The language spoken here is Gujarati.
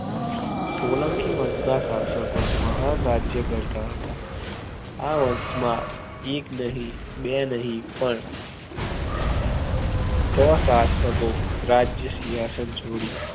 સોલંકી વંશ ના શાસકો મહાન રાજ્ય ગણતા હતા આ વંશમાં એક નહિ બે નહિ પણ છ શાસકો રાજ્ય સિંહાસન છોડી